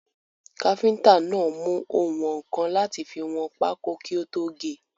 Káfíntà náà mú oùnwọ̀nkan láti fi wọn pákó kí ó tó ge.